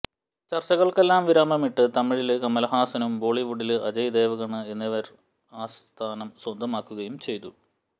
ചര്ച്ചകള്ക്കെല്ലാം വിരാമമിട്ട് തമിഴില് കമലഹാസനും ബോളിവുഡില് അജയ് ദേവഗണ് എന്നിവര് ആ സ്ഥാനം സ്വന്തമാക്കുകെയും ചെയ്തു